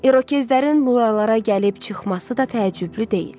İrokezlərin buralara gəlib çıxması da təəccüblü deyil.